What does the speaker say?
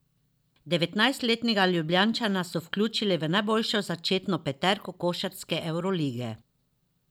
Devetnajstletnega Ljubljančana so vključili v najboljšo začetno peterko košarkarske evrolige.